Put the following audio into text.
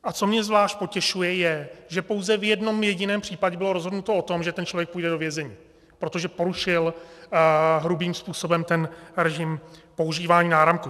A co mě zvlášť potěšuje, je, že pouze v jednom jediném případě bylo rozhodnuto o tom, že ten člověk půjde do vězení, protože porušil hrubým způsobem ten režim používání náramku.